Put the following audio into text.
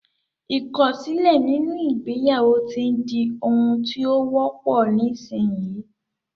Ìkọ̀sílẹ̀ nínú ìgbéyàwó ti di ohun tí ó wọ́pọ̀ nísinyí